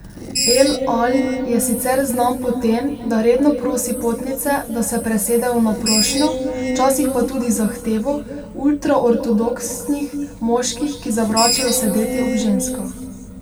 El Al je sicer znan po tem, da redno prosi potnice, da se presedejo na prošnjo, včasih pa tudi zahtevo, ultraortodoksnih moških, ki zavračajo sedeti ob ženskah.